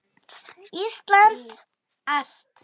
Íslandi allt!